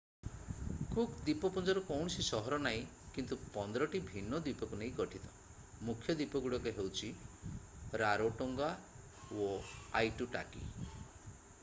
Cook ଦ୍ୱୀପପୁଞ୍ଜର କୌଣସି ସହର ନାହିଁ କିନ୍ତୁ 15 ଟି ଭିନ୍ନ ଦ୍ୱୀପକୁ ନେଇ ଗଠିତ ମୁଖ୍ୟ ଦ୍ୱୀପଗୁଡ଼ିକ ହେଉଛି ରାରୋଟୋଙ୍ଗା ଓ ଆଇଟୁଟାକୀ